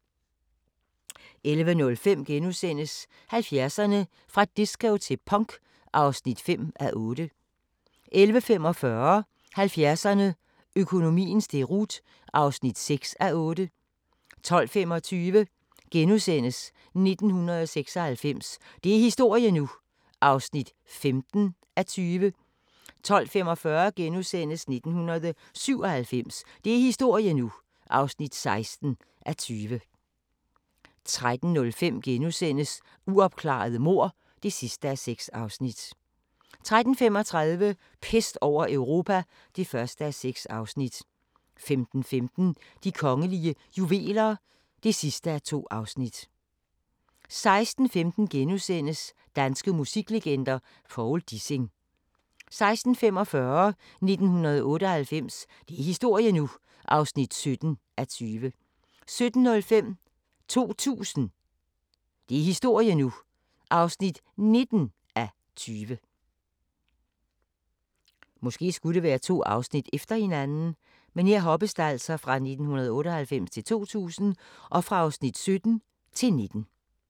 11:05: 70'erne: Fra disco til punk (5:8)* 11:45: 70'erne: Økonomiens deroute (6:8) 12:25: 1996 – det er historie nu! (15:20)* 12:45: 1997 – det er historie nu! (16:20)* 13:05: Uopklarede mord (6:6)* 13:35: Pest over Europa (1:6) 15:15: De kongelige juveler (2:2) 16:15: Danske musiklegender: Povl Dissing * 16:45: 1998 – det er historie nu! (17:20) 17:05: 2000 – det er historie nu! (19:20)